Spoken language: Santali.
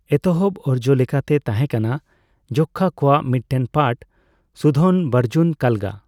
ᱮᱛᱚᱦᱚᱵ ᱚᱨᱡᱚᱞᱮᱠᱟᱛᱮ ᱛᱟᱦᱮᱸᱠᱟᱱᱟ ᱡᱚᱠᱠᱷᱚ ᱠᱚᱣᱟᱜ ᱢᱤᱫᱴᱮᱱ ᱯᱟᱴᱷ, ᱥᱩᱫᱷᱚᱱᱵᱚᱨᱡᱩᱱ ᱠᱟᱞᱜᱟ ᱾